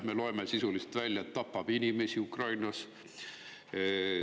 Me loeme sellest välja, et sisuliselt ta tapab inimesi Ukrainas.